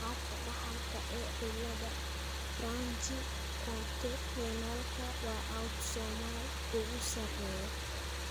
Qaabka dhaxalka ee cilada branchiootorenalka waa autosomal ugu sarreeya.